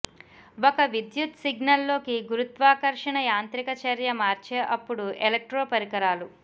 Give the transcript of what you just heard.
ఒక విద్యుత్ సిగ్నల్ లోకి గురుత్వాకర్షణ యాంత్రిక చర్య మార్చే అప్పుడు ఎలక్ట్రో పరికరాలు